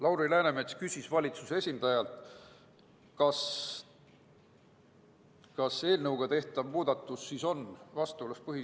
Lauri Läänemets küsis valitsuse esindajalt, kas eelnõuga tehtav muudatus on põhiseadusega vastuolus.